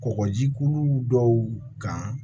Kɔkɔjikulu dɔw kan